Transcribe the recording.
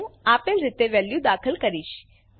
હું આપેલ રીતે વેલ્યુઓ દાખલ કરીશ